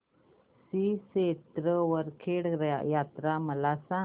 श्री क्षेत्र वरखेड यात्रा मला सांग